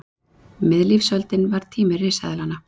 Miðlífsöldin var tími risaeðlanna.